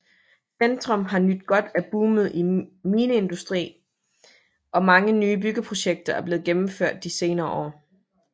Centrum har nydt godt af boomet i mineindustrien og mange nye byggeprojekter er blevet gennemført de senere år